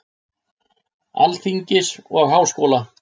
Alþingis og Háskóla.